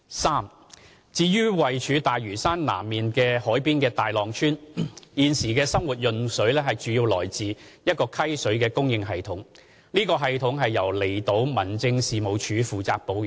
三至於位處大嶼山南面海邊的大浪村，現時的生活用水來自一個溪水的供應系統，此系統由離島民政事務處負責保養。